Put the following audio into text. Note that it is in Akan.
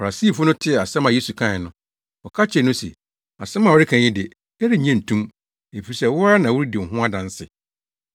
Farisifo no tee asɛm a Yesu kae no, wɔka kyerɛɛ no se, “Asɛm a woreka yi de, yɛrennye nto mu, efisɛ wo ara na woredi wo ho adanse.”